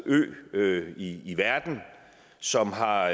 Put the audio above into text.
ø i verden som har